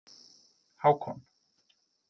Hákon